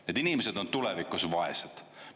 Need inimesed on tulevikus vaesed.